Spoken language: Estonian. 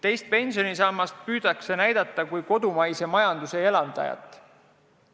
Teist pensionisammast püütakse näidata kui kodumaise majanduse elavdajat.